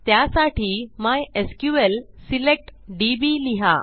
त्यासाठी MySQL select DB लिहा